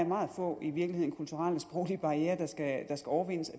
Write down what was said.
meget få kulturelle sproglige barrierer der skal overvindes